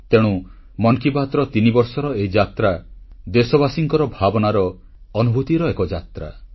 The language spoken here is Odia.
ତେଣୁ ମନ୍ କି ବାତ୍ର ତିନିବର୍ଷର ଏହି ଯାତ୍ରା ଦେଶବାସୀଙ୍କ ଭାବନାର ଅନୁଭୂତିର ଏକ ଯାତ୍ରା